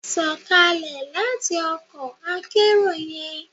Sọkalẹ lati ọkọ akerò yẹn!